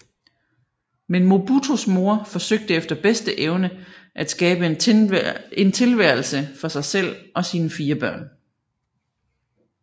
Men Mobutus mor forsøgte efter bedste evne at skabe en tilværelse for sig selv og sine fire børn